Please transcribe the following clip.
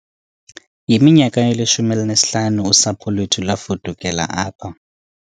Yiminyaka elishumi elinesihlanu usapho lwethu lwafudukela apha